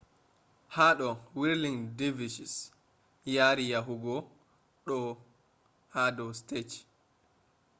hado whirling dervishes yari yahugo do stage